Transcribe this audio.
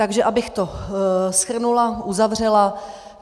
Takže abych to shrnula, uzavřela.